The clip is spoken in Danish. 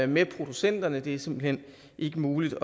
med producenterne det er simpelt hen ikke muligt